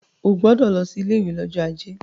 O gbọdọ̀ lọ sí ilé ìwé lọ́jọ́ ajé.